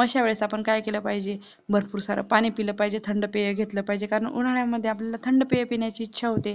अश्यावेळेस आपण काय केलं पाहिजे भरपूर सार थंड पाणी पिल पाहिजे थंड पेय घेतलं पाहिजे कारण उन्हाळ्यामध्ये आपल्याला थंड पेय पिण्याची इच्छा होते